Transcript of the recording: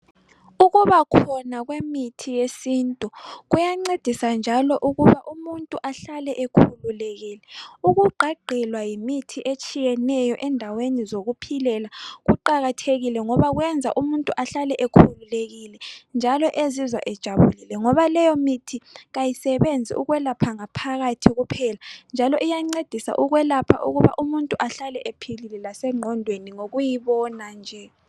Ukubakhona kwemithi yesintu kuyancedisa njalo ukuba umuntu ahlale ekhululekile. Ukugqagqilwa yimithi etshiyeneyo endaweni zokuphilela kuqakathekile ngoba kwenza umuntu ahlale ekhululekile njalo ezizwa ejabulile ngoba leyo mithi kayisebenzi ukwelapha ngaphakathi kuphela njalo iyancedisa ukwelapha ukuba umuntu ahlale ephilile lasegqondweni ngokuyibona nje.